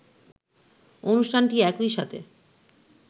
অনুষ্ঠানটি একই সাথে